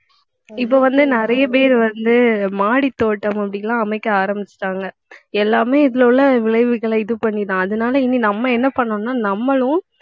இப்போ வந்து நிறைய பேர் வந்து மாடித் தோட்டம் அப்படி எல்லாம் அமைக்க ஆரம்பிச்சுட்டாங்க. எல்லாமே இதிலே உள்ள விளைவுகளை இது பண்ணிதான். அதனாலே இனி நம்ம என்ன பண்ணணும்ன்னா நம்மளும்